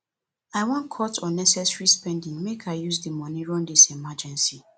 i wan cut unnecessary spending make i use di moni run dis emergency